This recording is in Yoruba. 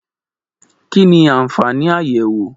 Kí ni àwọn àfààní àyẹ̀wò?